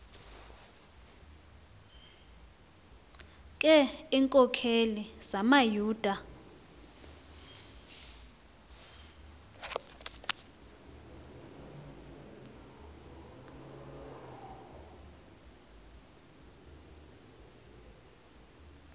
ke iinkokeli zamayuda